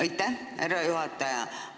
Aitäh, härra juhataja!